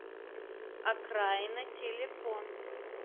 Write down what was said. окраина телефон